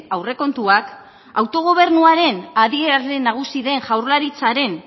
aurrekontuak autogobernuaren adierazle nagusi den jaurlaritzaren